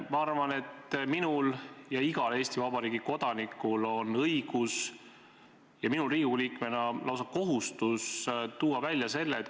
Ma arvan, et minul ja igal Eesti Vabariigi kodanikul on õigus ja minul Riigikogu liikmena lausa kohustus tuua asju esile.